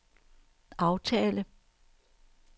aftale